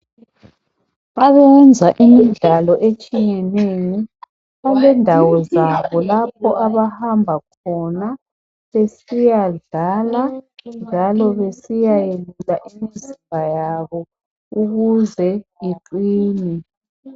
Abayenza imidlalo etshiyatshiyeneyo kulendawo zabo lapho abahamba khona besiyadlala njalo besiyayenza imizimba yabo ukuze iqine .